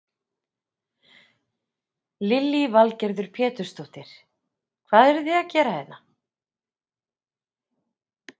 Lillý Valgerður Pétursdóttir: Hvað eruð þið að gera hérna?